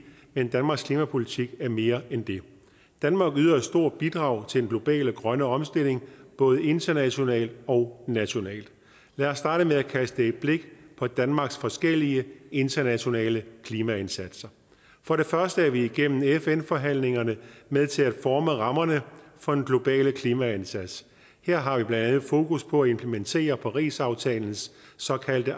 men danmarks klimapolitik er mere end det danmark yder et stort bidrag til den globale grønne omstilling både internationalt og nationalt lad os starte med at kaste et blik på danmarks forskellige internationale klimaindsatser for det første er vi igennem fn forhandlingerne med til at forme rammerne for den globale klimaindsats her har vi blandt andet fokus på at implementere parisaftalens såkaldte